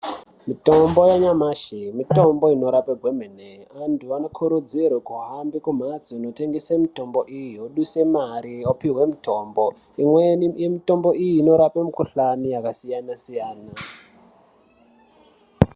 Mitombo yanyamashi mitombo inorapa kwemene vantu vanokurudzirwa kuhamba kumhatso inotengeswa mitombo iyi vodusa mare vopihwe mitombo imweni yemitombo iyi inorapa mikuhlani yakasiyana-siyana.